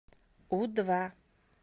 у два